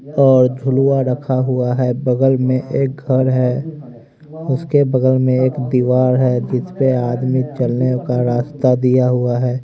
और झुलुआ रखा हुआ है बगल में एक घर है उसके बगल में एक दीवाड़ है जिसपे आदमी चलने का रास्ता दिया हुआ है।